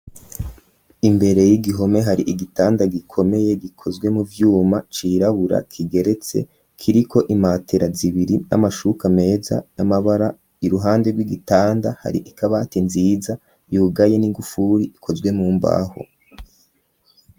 Imbere y'igihome hari igitanda gikomeye gikozwe mu vyuma cirabura kigeretse kiriko imatera zibiri n'amashuka meza n'amabara iruhande y'igitanda hari ikabati nziza yugaye n'igufuri ikozwe mu mbaho.